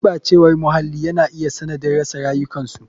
Gurɓacewar muhalli yana iya sanadin rasa rayukansu.